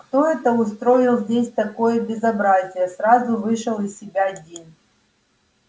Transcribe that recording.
кто это устроил здесь такое безобразие сразу вышел из себя дин